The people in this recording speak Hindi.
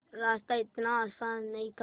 रास्ता इतना आसान नहीं था